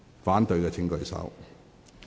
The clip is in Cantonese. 反對的請舉手。